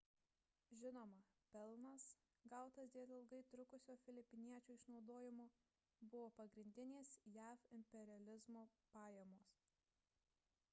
žinoma pelnas gautas dėl ilgai trukusio filipiniečių išnaudojimo buvo pagrindinės jav imperializmo pajamos